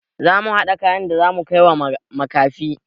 Zamu haɗa kayan da zamu kaiwa makafi.